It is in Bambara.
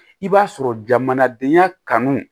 I b'a sɔrɔ jamanadenya kanu